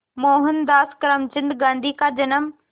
मोहनदास करमचंद गांधी का जन्म